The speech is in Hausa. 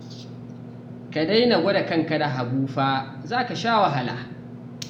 Ka daina gwada kanka da Habu fa, za ka sha wahala